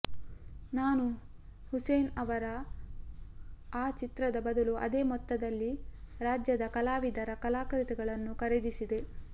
ನಾನು ಹುಸೇನ್ ಅವರ ಆ ಚಿತ್ರದ ಬದಲು ಅದೇ ಮೊತ್ತದಲ್ಲಿ ರಾಜ್ಯದ ಕಲಾವಿದರ ಕಲಾಕೃತಿಗಳನ್ನು ಖರೀದಿಸಿದೆ